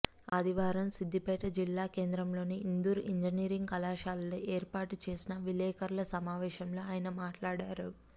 ఆదివారం సిద్దిపేట జిల్లా కేంద్రంలోని ఇందూర్ ఇంజనీరింగ్ కళాశాలలో ఏర్పాటు చేసిన విలేఖరుల సమావేశంలో ఆయన మాట్లాడారు